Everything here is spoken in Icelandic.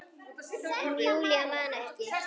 En Júlía man ekki.